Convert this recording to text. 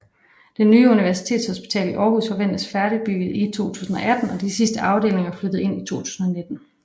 Det Nye Universitetshospital i Aarhus forventes færdigbygget i 2018 og de sidste afdelinger flyttet ind i 2019